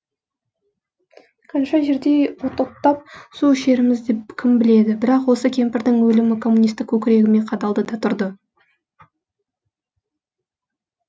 қанша жердей от оттап су ішерімізді кім біледі бірақ осы кемпірдің өлімі коммунистік көкірегіме қадалды да тұрды